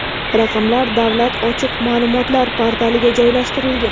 Raqamlar Davlat ochiq ma’lumotlar portaliga joylashtirilgan.